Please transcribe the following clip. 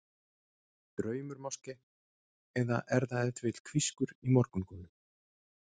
Draumur máske, eða er það ef til vill hvískur í morgungolu?